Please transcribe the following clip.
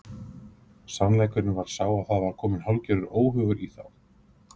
Sannleikurinn var sá að það var kominn hálfgerður óhugur í þá.